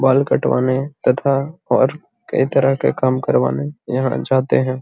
बाल कटवाने तथा और कई तरह के काम करने यहाँ जाते हैं।